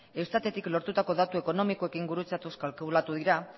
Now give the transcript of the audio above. eustatetik lortutako datu ekonomikoekin gurutzatuz kalkulatu dira